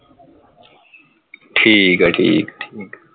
ਠੀਕ ਹੈ ਠੀਕ ਹੈ